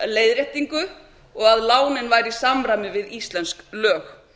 leiðréttingu og lánin væru í samræmi við íslensk lög